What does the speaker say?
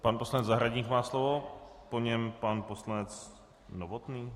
Pan poslanec Zahradník má slovo, po něm pan poslanec Novotný?